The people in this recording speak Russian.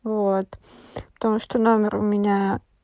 вот потому что номер у меня